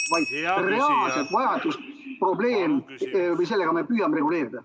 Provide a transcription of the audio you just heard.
... vaid reaalset vajadust, probleemi me püüame sellega reguleerida.